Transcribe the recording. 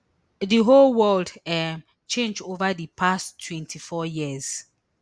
di whole world um change ova di past twenty-four years